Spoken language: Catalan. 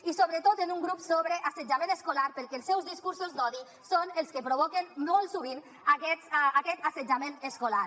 i sobretot en un grup sobre assetjament escolar perquè els seus discursos d’odi són els que provoquen molt sovint aquest assetjament escolar